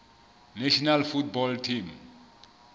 national football team